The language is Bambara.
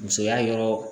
Musoya yɔrɔ